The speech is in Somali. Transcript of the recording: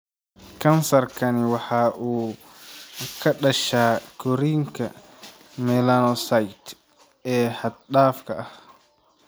Kansarkani waxa uu ka dhashaa korriinka melanocytes ee xad-dhaafka ah.